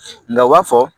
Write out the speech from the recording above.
Nka u b'a fɔ